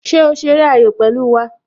Ṣé o ṣeré ayò pẹ̀lú wá?